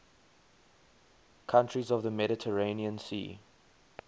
countries of the mediterranean sea